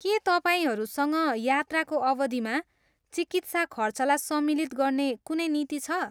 के तपाईँहरूसँग यात्राको अवधिमा चिकित्सा खर्चलाई सम्मिलित गर्ने कुनै नीति छ?